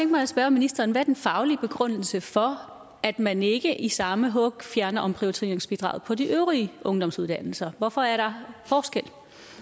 mig at spørge ministeren hvad er den faglige begrundelse for at man ikke i samme hug fjerner omprioriteringsbidraget på de øvrige ungdomsuddannelser hvorfor er der forskel